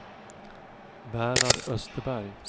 Bernhard Österberg